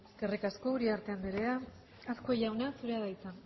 eskerrik asko uriarte anderea azkue jauna zurea da hitza